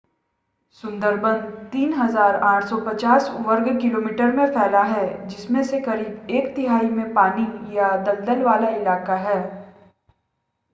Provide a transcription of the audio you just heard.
सुंदरबन 3,850 वर्ग किलोमीटर में फैला है जिसमें से करीब एक तिहाई में पानी/दलदल वाला इलाका है